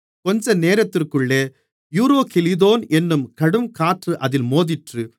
கொஞ்சநேரத்திற்குள்ளே Euroclydon என்னும் கடுங்காற்று அதில் மோதிற்று